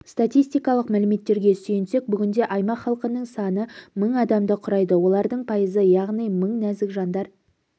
стастистикалық мәліметтерге сүйенсек бүгінде аймақ халқының саны мың адамды құрайды олардың пайызы яғни мың нәзік жандар